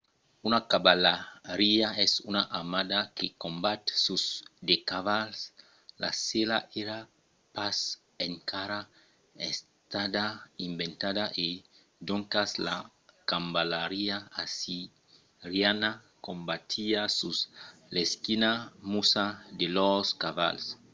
una cavalariá es una armada que combat sus de cavals. la sèla èra pas encara estada inventada e doncas la cavalariá assiriana combatiá sus l'esquina nusa de lors cavals